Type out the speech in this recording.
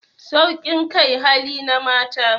Saukin kai hali na mata